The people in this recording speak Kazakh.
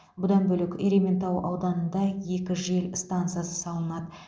бұдан бөлек ерейментау ауданында екі жел станса салынады